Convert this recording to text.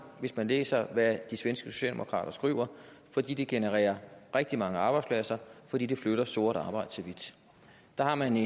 hvis man læser hvad de svenske socialdemokrater skriver fordi det genererer rigtig mange arbejdspladser og fordi det flytter sort arbejde til hvidt der har man